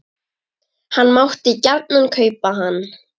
Hann mátti gjarnan kaupa hann.